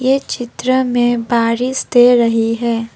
ये चित्र में बारिश दे रही है।